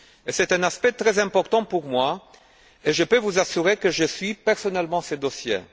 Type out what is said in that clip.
C'est un aspect très important pour moi et je peux vous assurer que je suis personnellement ce dossier.